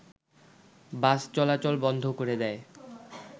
বাস চলাচল বন্ধ করে দেয়